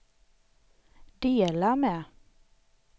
dela med